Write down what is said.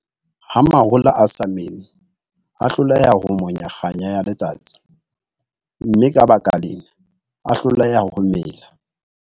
Ha mahola a sa mele, a hloleha ho monya kganya ya letsatsi, mme ka baka lena, a hloleha ho mela.